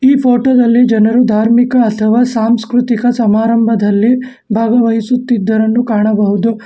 ಈ ಫೋಟೋ ದಲ್ಲಿ ಜನರು ಧಾರ್ಮಿಕ ಅಥವಾ ಸಾಂಸ್ಕ್ರತಿಕ ಸಮಾರಂಭದಲ್ಲಿ ಭಾಗವಹಿಸುತ್ತಿದ್ದರೆಂದು ಕಾಣಬಹುದು.